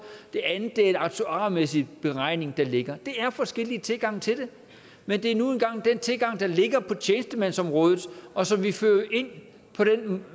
det andet er en aktuarmæssig beregning der ligger det er de forskellige tilgange til det men det er nu engang den tilgang der ligger på tjenestemandsområdet og som vi fører ind